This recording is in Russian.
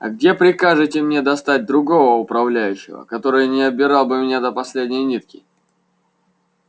а где прикажете мне достать другого управляющего который не обирал бы меня до последней нитки